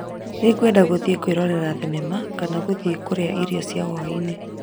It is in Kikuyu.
Nĩwendaga gũthiĩ kwĩrorera thenema kana gũthiĩ kuria irio cia hwaĩ-inĩ